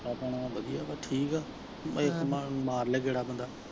ਆਪਣਾ ਵਧੀਆ ਵਾ ਠੀਕ ਵਾ ਇਕ ਮਾਰਲੇ ਗੇੜਾ ਬੰਦਾ।